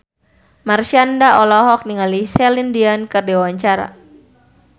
Marshanda olohok ningali Celine Dion keur diwawancara